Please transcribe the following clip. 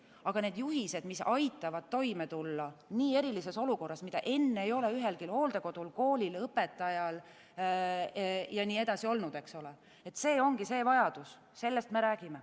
Aga need juhised, mis aitavad toime tulla nii erilises olukorras, mida enne ei ole ühelgi hooldekodul, koolil, õpetajal jne olnud, see ongi see vajadus, sellest me räägime.